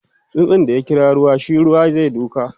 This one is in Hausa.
tsutsun da ya kira ruwa shi Ruwa zai duka